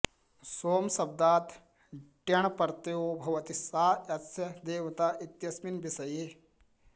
सोमशब्दात् ट्यण् प्रत्ययो भवति सा ऽस्य देवता इत्यस्मिन् विषये